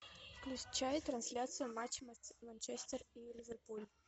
включай трансляцию матча манчестер и ливерпуль